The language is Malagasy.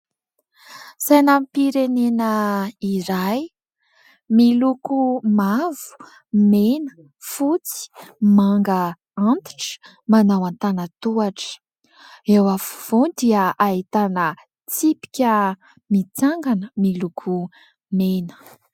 Sainam-pirenena iray miloko mavo, mena, fotsy, manga antitra, manao an-tanatohatra eo afovoany dia ahitana tsipika mitsangana miloko mena.